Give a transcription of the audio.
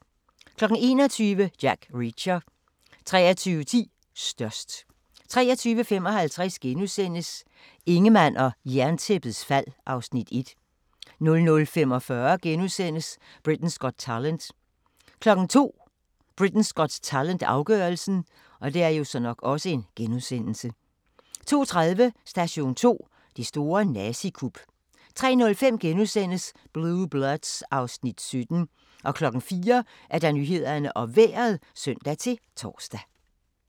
21:00: Jack Reacher 23:10: Størst 23:55: Ingemann og Jerntæppets fald (Afs. 1)* 00:45: Britain's Got Talent * 02:00: Britain's Got Talent - afgørelsen 02:30: Station 2: Det store nazikup 03:05: Blue Bloods (Afs. 17)* 04:00: Nyhederne og Vejret (søn-tor)